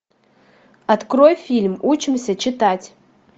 открой фильм учимся читать